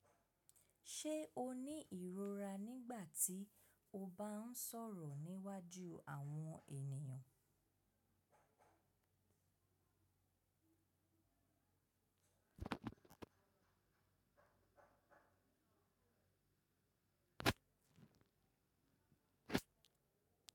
Ṣé o ní ìrora nígbà tí o bá ń sọ̀rọ̀ níwájú àwọn ènìyàn?